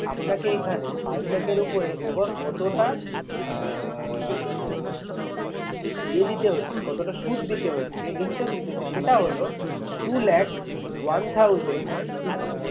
আপনাকে এখানে five lakh এর উপরে over কতটা আহ মানে এ দিতে হচ্ছে কতটা সুদ দিতে হচ্ছে interest দিতে হচ্ছে সেটা লহো। two lakh one thousand